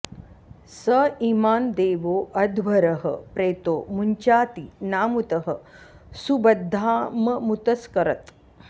स इ॒मां दे॒वो अ॑ध्व॒रः प्रेतो मु॒ञ्चाति॒ नामुतः॑ सुब॒द्धाम॒मुत॑स्करत्